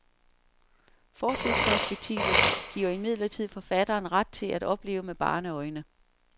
Fortidsperspektivet giver imidlertid forfatteren ret til at opleve med barneøjne.